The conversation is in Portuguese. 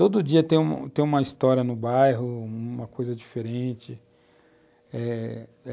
Todo dia tem uma história no bairro, uma coisa diferente, é...